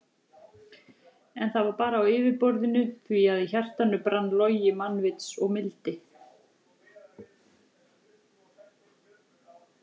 En það var bara á yfirborðinu því að í hjartanu brann logi mannvits og mildi.